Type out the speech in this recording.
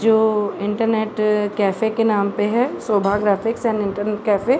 जो internet cafe के नाम पे है। Shobha graphics and cafe.